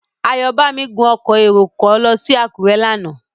Ayọ̀bámi gun ọkọ̀ èrò kan lọ sí Àkúrẹ́ lánàá.